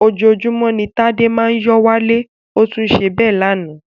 Ojoojúmọ́ ni ó Tádé máa ń yó wálé, ó tún ṣe bẹ́ẹ̀ lánàá